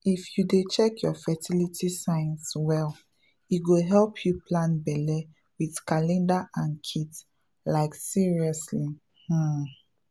if you dey check your fertility signs well e go help you plan belle with calendar and kit — like seriously um